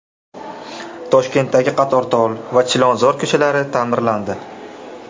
Toshkentdagi Qatortol va Chilonzor ko‘chalari ta’mirlandi .